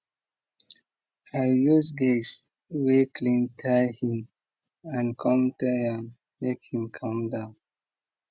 i use gauze wey clean tie him hand come tell am make him calm down